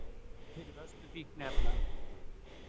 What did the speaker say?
Handtekinn fyrir vörslu fíkniefna